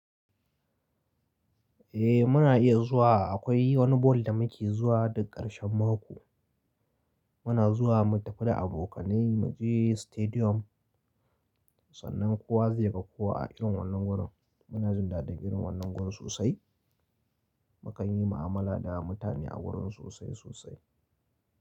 Eh muna iya zuwa. Akwai wani ball da muke zuwa duk ƙarshen mako. Muna zuwa mu tafi da abokanai mu je stadium. Sannan kowa zai ga kowa a irin wannan wurin. Muna jin daɗin irin wannan gurin sosai. Mukan yi mu'amala da mutane a gurin sosai sosai.